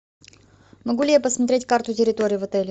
могу ли я посмотреть карту территории в отеле